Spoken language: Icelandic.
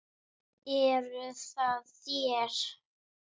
Eruð það þér?